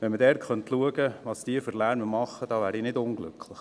Wenn man schauen könnte, welchen Lärm die da machen, wäre ich nicht unglücklich.